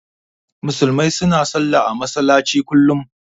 Musulmai su na sallah a masallaci kullum